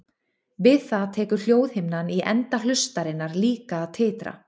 Við það tekur hljóðhimnan í enda hlustarinnar líka að titra.